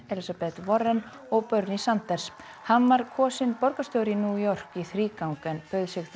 Warren og Bernie Sanders hann var kosinn borgarstjóri í New York í þrígang en bauð sig þá